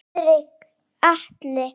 Friðrik Atli.